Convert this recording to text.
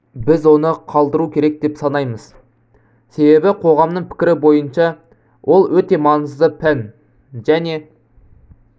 біз оны қалдыру керек деп санаймыз себебі қоғамның пікірі бойынша ол өте маңызды пән және